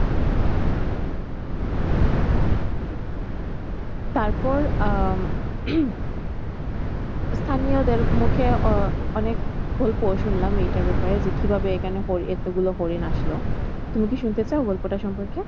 তারপর আহ স্থানীয়দের মুখে অনেক শুনলাম এটার ব্যাপারে যে কিভাবে এখানে এতগুলো হরিণ আসলো তুমি কি শুনতে চাও গল্পটার সম্পর্কে?